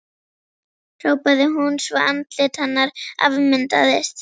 hrópaði hún svo andlit hennar afmyndaðist.